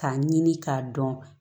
K'a ɲini k'a dɔn